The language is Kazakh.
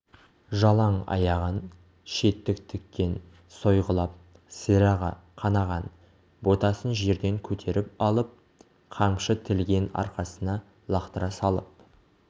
жалаң аяғын шеттік тікен сойғылап сирағы қанаған ботасын жерден көтеріп алып қамшы тілген арқасына лақтыра салып